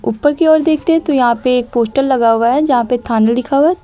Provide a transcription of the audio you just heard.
ऊपर की ओर देखते हैं तो यहां पे एक पोस्टर लगा हुआ है जहां पे थाना लिखा हुआ है।